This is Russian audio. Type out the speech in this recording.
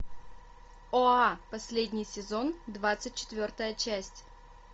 оа последний сезон двадцать четвертая часть